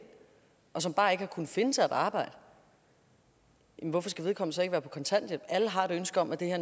og som bare ikke har kunnet finde sig et arbejde hvorfor skal vedkommende så ikke være på kontanthjælp alle har et ønske om at det her